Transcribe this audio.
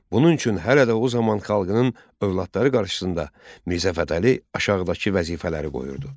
Bunun üçün hələ də o zaman xalqının övladları qarşısında Mirzə Fətəli aşağıdakı vəzifələri qoyurdu: